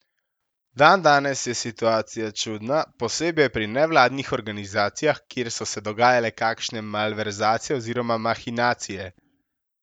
Dandanes je situacija čudna, posebej pri nevladnih organizacijah, kjer so se dogajale kakšne malverzacije oziroma mahinacije.